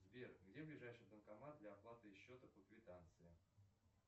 сбер где ближайший банкомат для оплаты счета по квитанции